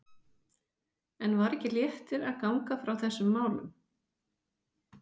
En var ekki léttir að ganga frá þessum málum?